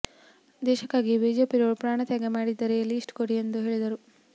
ದೇಶಕ್ಕಾಗಿ ಬಿಜೆಪಿಯವರು ಪ್ರಾಣ ತ್ಯಾಗ ಮಾಡಿದ್ದರೆ ಲಿಸ್ಟ್ ಕೊಡಿ ಎಂದು ಹೇಳಿದರು